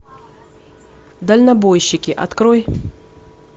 дальнобойщики открой